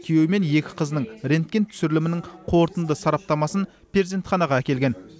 күйеуі мен екі қызының рентген түсірілімінің қорытынды сараптамасын перзентханаға әкелген